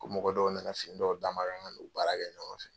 Ko mɔgɔ dɔw na na fini dɔw d'a ma kan k'u baara kɛ ɲɔgɔn fɛ.